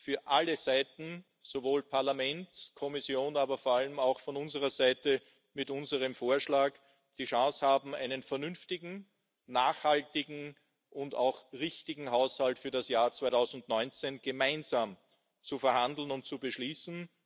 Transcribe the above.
für alle Seiten sowohl Parlament, Kommission, aber vor allem auch von unserer Seite mit unserem Vorschlag die Chance haben, einen vernünftigen, nachhaltigen und auch richtigen Haushalt für das Jahr 2019 gemeinsam auszuhandeln und zu beschließen.